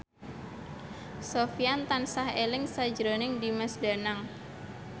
Sofyan tansah eling sakjroning Dimas Danang